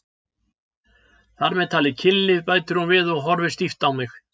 Þar með talið kynlíf, bætir hún við og horfir stíft á mig.